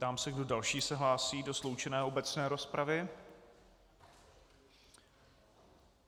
Ptám se, kdo další se hlásí do sloučené obecné rozpravy.